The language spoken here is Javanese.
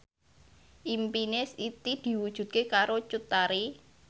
impine Siti diwujudke karo Cut Tari